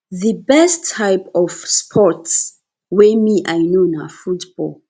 the best type of sports wey me i know na football